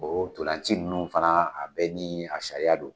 Ntolaci ninnu fana a bɛ ni a sariya don.